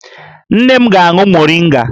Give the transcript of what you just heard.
Nne m ga-aṅụ moringa